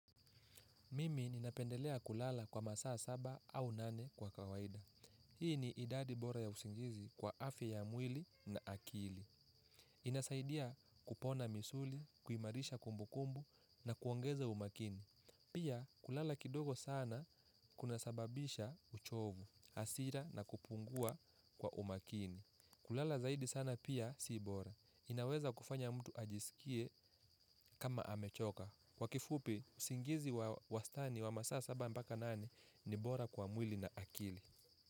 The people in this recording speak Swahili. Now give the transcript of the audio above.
Mimi ninapendelea kulala kwa masaa saba au nane kwa kawaida. Hii ni idadi bora ya usingizi kwa afya ya mwili na akili. Inasaidia kupona misuli, kuimarisha kumbukumbu na kuongeze umakini. Pia kulala kidogo sana kunasababisha uchovu, hasira na kupungua kwa umakini. Kulala zaidi sana pia si bora. Inaweza kufanya mtu ajisikie kama amechoka. Kwa kifupi, usingizi wa wastani wa masa saba mpaka nane ni bora kwa mwili na akili.